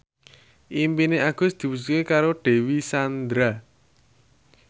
impine Agus diwujudke karo Dewi Sandra